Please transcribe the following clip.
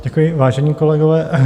Děkuji, vážení kolegové.